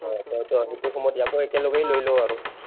toh সেইটো সময়ত ইয়াকো একেলগেই লৈ লওঁ আৰু।